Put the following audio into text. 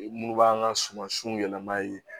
Munnu b'an ka sumansiw yɛlɛma yen